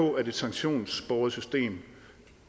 på at et sanktionsbåret system